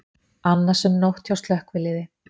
Annasöm nótt hjá slökkviliði